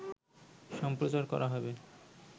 সম্প্রচার করা হবে